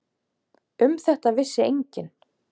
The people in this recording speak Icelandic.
Um þetta vissi enginn.